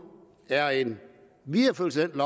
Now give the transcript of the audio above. er en videreførelse af den